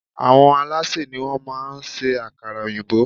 Àwọn alásè ni wón má a ń ṣe ákárà òyìnbó